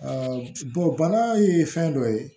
bana ye fɛn dɔ ye